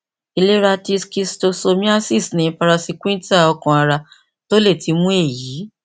ilera ti schistosomiasis ni praziquintal ọkanara ti o le ti mu eyi